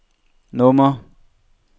nummer